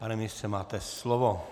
Pane ministře, máte slovo.